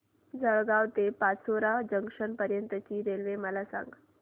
जळगाव ते पाचोरा जंक्शन पर्यंतची रेल्वे मला सांग